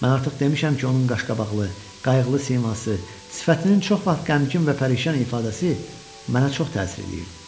Mən artıq demişəm ki, onun qaşqabaqlı, qayğılı siması, sifətinin çox vaxt qəmgin və pərişan ifadəsi mənə çox təsir eləyirdi.